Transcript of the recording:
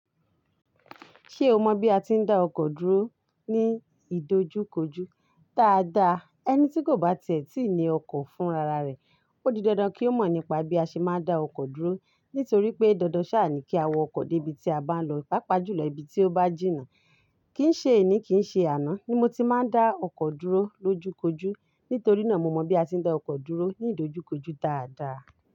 Ṣé o mọ bí a ti ń dá ọkọ̀ dúró ní ìdojúkojú dáadáa? Ẹni tí kò bá tiẹ̀ tí ní ọkọ̀ fún rara rẹ̀, ó di dandan kí ó mọ̀ nípa bí a ṣe máa ń dá ọkọ̀ dúró. Nítorí pé, dandan sá à ní kí a wọ ọkọ̀ dé ibi tí a bá ń lọ, pàápàá jù lọ ibi tí ó bá jìnnà. Kin ṣe ení, kì í ṣe àná ni mo ti máa ń dá ọkọ̀ dúró lójúkojú. Nítorí náà mo mọ̀ bí a ti ń dá ọkọ̀ dúró ní ìdojúkojú dáadáa.